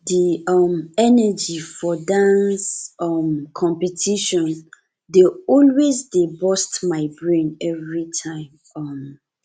the um energy for dance um competition dey always dey burst my brain every time um